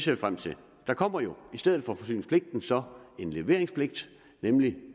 vi frem til der kommer jo i stedet for forsyningspligten så en leveringspligt nemlig